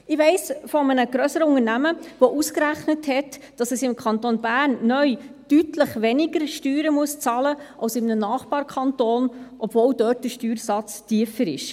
Ich weiss von einem grösseren Unternehmen, das ausgerechnet hat, dass es im Kanton Bern neu deutlich weniger Steuern bezahlen muss als in einem Nachbarkanton, obwohl dort der Steuersatz tiefer ist.